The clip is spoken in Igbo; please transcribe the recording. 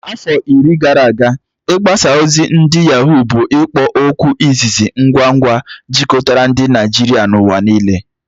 Afọ iri gara aga, mgbaza ozi ndi Yaghó bụ ikpo okwu izizi ngwa ngwa jikọtara ndị Naijiria n'ụwa niile.